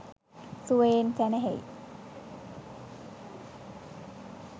සුවයෙන් සැනැහෙයි.